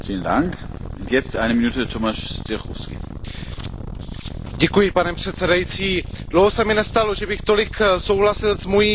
Pane předsedající, dlouho se mi nestalo, že bych tolik souhlasil s mou komunistickou předřečnicí, ale má naprostou pravdu v tom, co řekla.